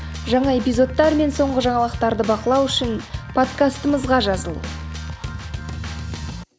жаңа эпизодтар мен соңғы жаңалықтарды бақылау үшін подкастымызға жазыл